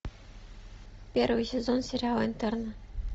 первый сезон сериала интерны